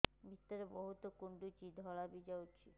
ଭିତରେ ବହୁତ କୁଣ୍ଡୁଚି ଧଳା ବି ଯାଉଛି